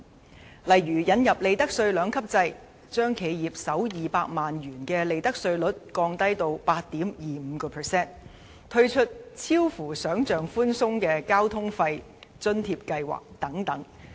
其中的例子包括：引入利得稅兩級制、將企業首200萬元的利得稅率降至 8.25%、推出出奇地寬鬆的交通費津貼計劃等。